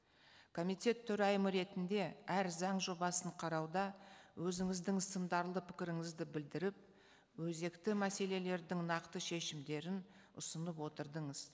комитет төрайымы ретінде әр заң жобасын қарауда өзіңіздің сындарлы пікіріңізді білдіріп өзекті мәселелердің нақты шешімдерін ұсынып отырдыңыз